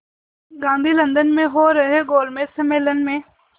Gandhi London में हो रहे गोलमेज़ सम्मेलन में